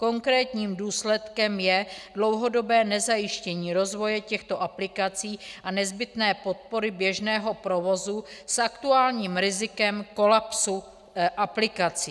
Konkrétním důsledkem je dlouhodobé nezajištění rozvoje těchto aplikací a nezbytné podpory běžného provozu s aktuálním rizikem kolapsu aplikací.